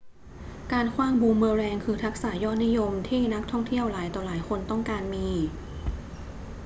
การขว้างบูมเมอแรงคือทักษะยอดนิยมที่นักท่องเที่ยวหลายต่อหลายคนต้องการมี